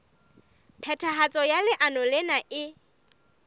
phethahatso ya leano lena e